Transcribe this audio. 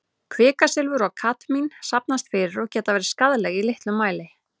Kvikasilfur og kadmín safnast fyrir og geta verið skaðleg í litlum mæli.